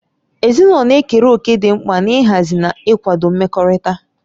Ezinụlọ na-ekere òkè dị mkpa n'ịhazi na ịkwado mmekọrịta.